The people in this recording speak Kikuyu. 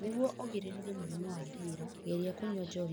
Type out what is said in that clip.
Nĩguo ũgirĩrĩrie mũrimũ wa ndĩĩra, geria kũnyua njohi na gĩkĩro kĩnini.